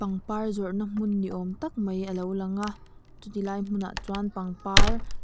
pangpar zawrhna hmun niawm tak mai alo lang a chu tilai hmunah chuan pangpar ah --